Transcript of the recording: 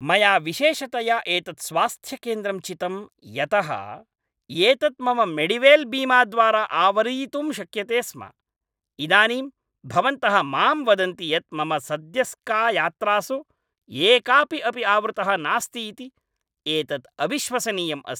मया विशेषतया एतत् स्वास्थ्यकेन्द्रं चितम् यतः एतत् मम मेडिवेल् बीमाद्वारा आवरीतुं शक्यते स्म । इदानीं भवन्तः मां वदन्ति यत् मम सद्यस्कयात्रासु एकापि अपि आवृतः नास्ति इति? एतत् अविश्वसनीयम् अस्ति!